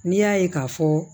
N'i y'a ye k'a fɔ